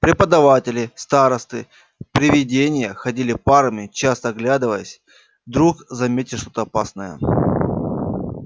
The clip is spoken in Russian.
преподаватели старосты привидения ходили парами часто оглядываясь вдруг заметят что-то опасное